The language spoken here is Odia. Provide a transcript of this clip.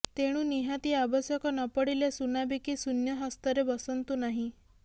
ତେଣୁ ନିହାତି ଆବଶ୍ୟକ ନପଡ଼ିଲେ ସୁନା ବିକି ଶୂନ୍ୟ ହସ୍ତରେ ବସନ୍ତୁ ନାହିଁ